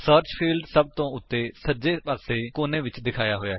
search field ਸਭ ਤੋਂ ਉੱਤੇ ਸੱਜੇ ਪਾਸੇ ਕੋਨੇ ਵਿਚ ਦਿਖਾਇਆ ਹੋਇਆ ਹੈ